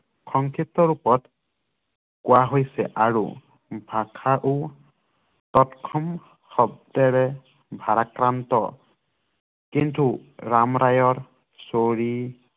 সংশ্লিষ্ট ৰূপত কোৱা হৈছে আৰু ভাষাও ততসম শব্দৰে ভাৰাক্ৰান্ত কিন্তু ৰাম ৰায়ৰ